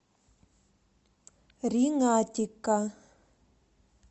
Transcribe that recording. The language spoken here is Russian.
ринатика